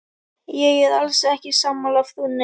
Ég er alls ekki sammála frúnni.